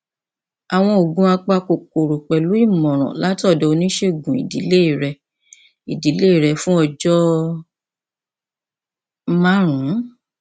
àwọn oògùn apakòkòrò pẹlú ìmọràn láti ọdọ oníṣègùn ìdílé rẹ ìdílé rẹ fún ọjọ márùnún